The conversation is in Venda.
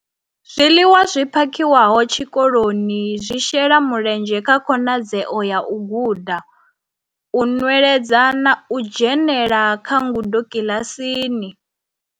Zwiḽiwa zwi phakhiwaho tshikoloni zwi shela mulenzhe kha khonadzeo ya u guda, u nweledza na u dzhenela kha ngudo kiḽasini.